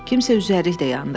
Kimsə üzərlik də yandırdı.